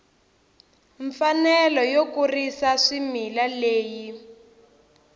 mfanelo yo kurisa swimila leyi